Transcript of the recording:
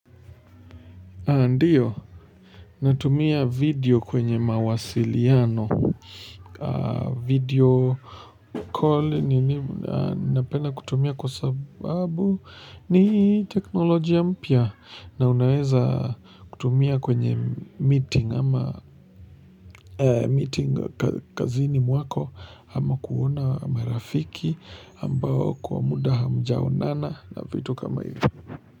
Ndiyo, natumia video kwenye mawasiliano, video call ninapenda kutumia kwa sababu ni teknolojia mpya na unaweza kutumia kwenye meeting ama meeting kazini mwako ama kuona marafiki ambao kwa muda hamjaonana na vitu kama hivo.